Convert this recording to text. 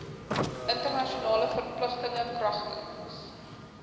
internasionale verpligtinge kragtens